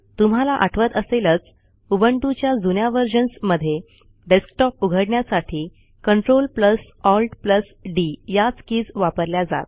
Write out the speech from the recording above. तुम्हाला आठवत असेलच उबंटूच्या जुन्या व्हर्जन्स मधे डेस्कटॉप उघडण्यासाठी CltAltD याच कीज वापरल्या जात